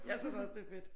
Jeg synes også det er fedt